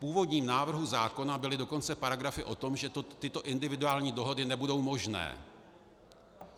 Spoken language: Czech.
V původním návrhu zákona byly dokonce paragrafy o tom, že tyto individuální dohody nebudou možné.